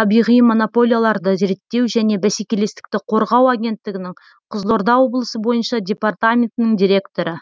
табиғи монополияларды реттеу және бәсекелестікті қорғау агенттігінің қызылорда облысы бойынша департаментінің директоры